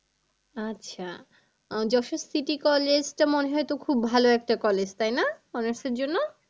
আচ্ছা আহ দর্শন city college টা মনে হয় তো খুব ভালো একটা college তাই না honours এর জন্য?